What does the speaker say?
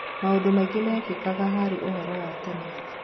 Maũndũ maingĩ mekĩkaga harĩ ũhoro wa tene.